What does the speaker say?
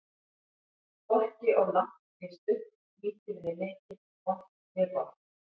Hvorki of langt né stutt, lítið né mikið, vont né gott.